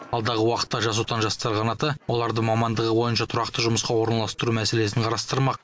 алдағы уақытта жас отан жастар қанаты оларды мамандығы бойынша тұрақты жұмысқа орналастыру мәселесін қарастырмақ